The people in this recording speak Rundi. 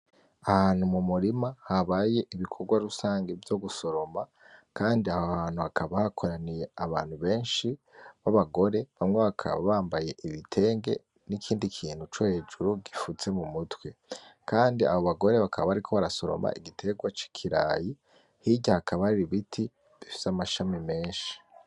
Ahantu mu murima habaye ibikorwa rusangi vyo gusoroma kandi aho hantu hakaba hakoraniye abantu benshi b'abagore, bamwe bakaba bambaye ibitenge n'ikindi kintu co hejuru gifutse mu mutwe, kandi abo bagore bakaba bariko barasoroma igitegwa c'ikirayi, hirya hakaba hari ibiti bifise amashami menshi.